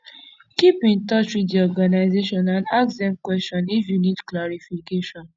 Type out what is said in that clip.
keep in touch with the organisation and ask dem question if you need clarification